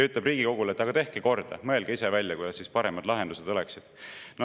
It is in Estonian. Ütleb Riigikogule, et tehke korda, mõelge ise välja, millised lahendused oleksid paremad.